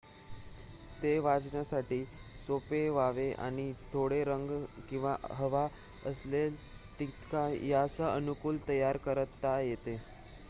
ते वाचण्यासाठी सोपे व्हावे आणि थोडा रंग किंवा हवा असेल तितका यासह अनुकूल तयार करता येते